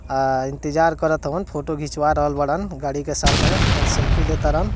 अअ इंतजार करतन फोटो घीचवा रहल वाड़न गाड़ी के साथे अपन सेल्फी लेतरन।